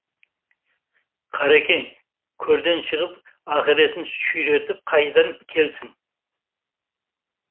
қаракең көрден шығып ақыретін сүйретіп қайдан келсін